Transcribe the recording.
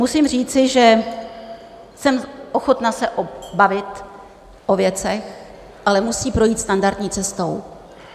Musím říci, že jsem ochotna se bavit o věcech, ale musí projít standardní cestou.